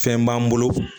Fɛn b'an bolo